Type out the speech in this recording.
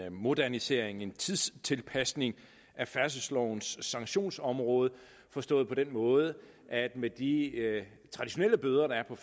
en modernisering en tidstilpasning af færdselslovens sanktionsområde forstået på den måde at det med de traditionelle bøder der er på